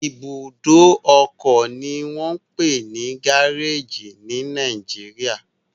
Ibùdó ọkọ ni wọ́n ń pè ní gáréèjì ní Nàìjíríà